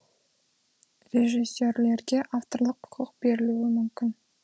режиссерлерге авторлық құқық берілуі мүмкін